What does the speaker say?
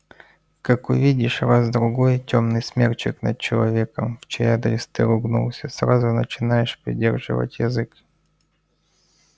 как увидишь раз-другой тёмный смерчик над человеком в чей адрес ты ругнулся сразу начинаешь придерживать язык